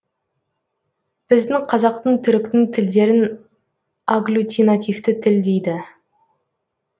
біздің қазақтың түріктің тілдерін аглютинативті тіл дейді